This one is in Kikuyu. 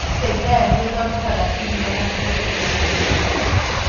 Brookside Dairy nĩ ĩthondekaga iria na indo ingĩ cia ndĩri.